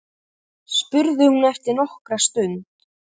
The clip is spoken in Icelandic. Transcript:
spurði hún eftir nokkra stund.